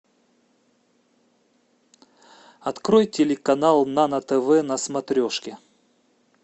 открой телеканал нано тв на смотрешке